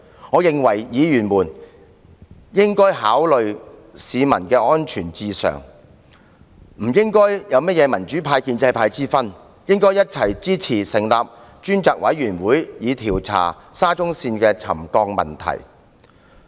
我認為議員應以市民的安全為上，不應有民主派或建制派之分，應該一起支持成立專責委員會，調查沙中線的沉降問題。